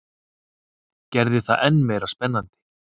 Gerði það enn meira spennandi.